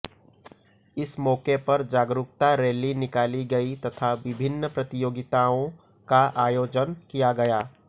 इस मौके पर जागरुकता रैली निकाली गई तथा विभिन्न प्रतियोगिताओं का आयोजन किया गया